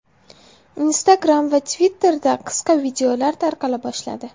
Instagram va Twitter’da qisqa videolar tarqala boshladi.